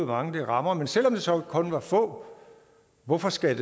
mange det rammer men selv om det så kun var få hvorfor skal